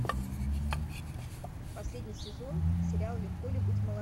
последний сезон сериал легко ли быть молодым